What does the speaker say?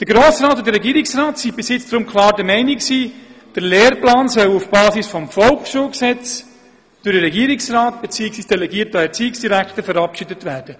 Der Grosse Rat und der Regierungsrat waren bisher deshalb klar der Meinung, der Lehrplan solle auf Basis des Volksschulgesetzes durch den Regierungsrat, bzw. delegiert durch den Erziehungsdirektor, verabschiedet werden.